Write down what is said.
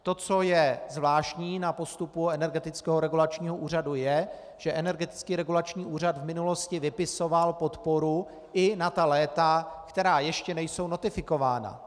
To, co je zvláštní na postupu Energetického regulačního úřadu, je, že Energetický regulační úřad v minulosti vypisoval podporu i na ta léta, která ještě nejsou notifikována.